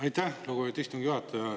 Aitäh, lugupeetud istungi juhataja!